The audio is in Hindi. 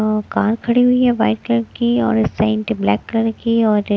और कार खड़ी हुई है व्हाइट कलर की और ब्लैक कलर की और--